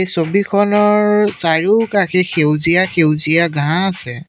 ছবিখনৰ চাৰিওকাষে সেউজীয়া সেউজীয়া ঘাঁহ আছে।